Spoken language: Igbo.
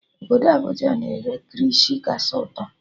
Obodo Abuja na-ere kirishi kachasị ụtọ